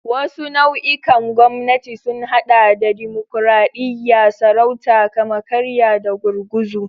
Wasu nau'ikan gwamnati sun haɗa da dimokuradiyya, sarauta, kama-karya, da gurguzu.